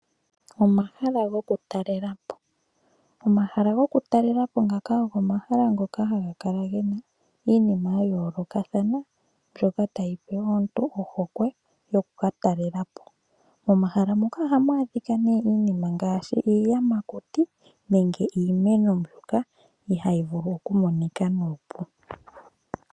Omahala gokutalela po. Omahala gokutalela po ngaka ogo omahala ngoka haga kala gena iinima ya yoolokathana mbyoka tayi pe aantu ohokwe yokukatalela po. Momahala ngaka ohamu adhika iinima ngaashi iiyamakuti nenge iimeno mbyoka ihayi vulu okumonika nuupu.